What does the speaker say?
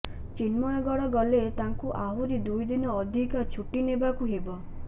ଚିନ୍ମୟଗଡ଼ ଗଲେ ତାକୁ ଆହୁରି ଦୁଇଦିନ ଅଧିକା ଛୁଟି ନେବାକୁ ହେବ